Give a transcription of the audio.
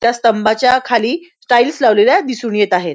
त्या स्तंभाच्या खाली टाइल्स लावलेल्या दिसून येत आहेत.